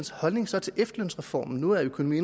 holdning så til efterlønsreformen nu er økonomi